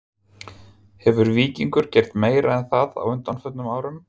Hefur Víkingur gert meira en það á undanförnum árum??